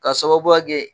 K'a sababuya kɛ